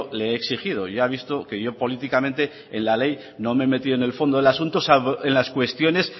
le he exigido ya ha visto que yo políticamente en la ley no me he metido en el fondo del asunto salvo en las cuestiones